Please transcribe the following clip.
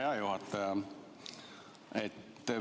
Hea juhataja!